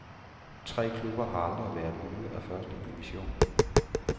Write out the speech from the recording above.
Tre klubber har aldrig været ude af første division.